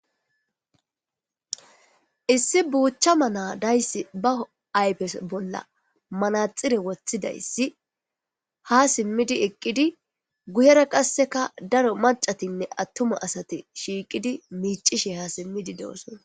Issi buchana na'a deyis ba ayipe bolla manaxire wothizayis ha simidi eqidi guyera qa daro macati atuma asati shiqidi eqidi micishe do'sona